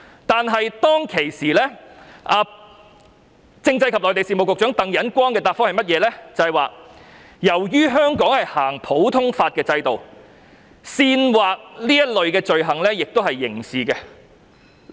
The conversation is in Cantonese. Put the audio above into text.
但是，政制及內地事務局常任秘書長鄧忍光當時的答覆是，由於香港實行普通法制度，煽惑這類罪行也屬刑事罪行。